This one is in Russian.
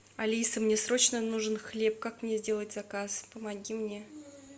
алиса мне срочно нужен хлеб как мне сделать заказ помоги мне